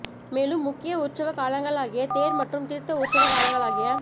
மேலும் முக்கிய உற்சவ காலங்களாகிய தேர் மற்றும் தீர்த்த உற்சவ காலங்களாகிய